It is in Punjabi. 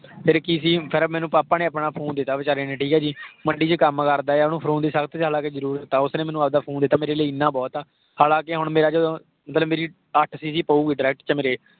ਫ਼ਿਰ ਕੀ ਸੀ ਫ਼ਿਰ ਮੈਨੂੰ papa ਨੇ phone ਆਪਣਾ ਦਿੱਤਾ ਵਿਚਾਰੇ ਨੇ, ਠੀਕ ਆ ਜੀ। ਮੰਡੀ ਵਿਚ ਕੱਮ ਕਰਦਾ ਆ, ਓਹਨੂੰ phone ਦੀ ਸਖ਼ਤ ਹਾਲਾਂਕਿ ਸਬ ਤੋਂ ਜਿਆਦਾ ਜ਼ਰੁਰਤ ਆ। ਉਸਨੇ ਮੈਨੂੰ ਆਪਦਾ phone ਦਿੱਤਾ ਮੇਰੇ ਲਈ ਇੰਨਾ ਬਹੁਤ ਆ। ਹਾਲਾਂਕਿ ਹੁਣ ਮੇਰੇ ਜਦੋਂ, ਮਤਲਬ ਮੇਰੀ ਅੱਠ cc ਪਊਗੀ direct ਚ ਮੇਰੇ।